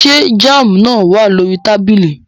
Ṣé jam náà wà lórí tábìlì?